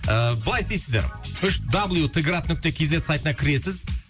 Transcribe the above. ыыы былай істейсіздер үш дабл ю т град нүкте кз сайтына кіресіз